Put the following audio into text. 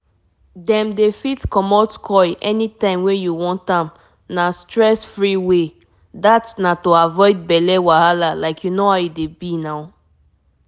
if u dey think copper coil matter e dey last for years u no go need dey swallow medicine everyday ah!